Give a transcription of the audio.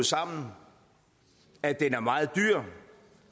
sammen at den er meget dyr